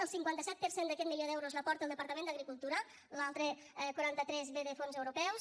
el cinquanta set per cent d’aquest milió d’euros l’aporta el departament d’agricultura l’altre quaranta tres ve de fons europeus